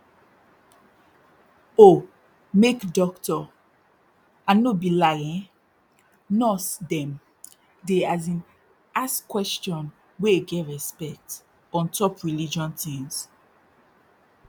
oh make dokto and no be lie eh nurse dem dey as in ask question wey get respect ontop religion tins